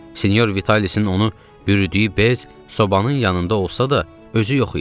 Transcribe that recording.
Senyor Vitalisin onu bürüyüdüyü bez sobanın yanında olsa da, özü yox idi.